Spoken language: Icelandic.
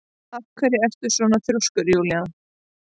Af hverju ertu svona þrjóskur, Júnía?